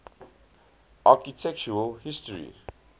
architectural history